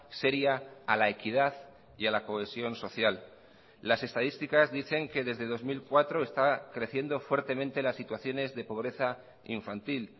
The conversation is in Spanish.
seria a la equidad y a la cohesión social las estadísticas dicen que desde dos mil cuatro está creciendo fuertemente las situaciones de pobreza infantil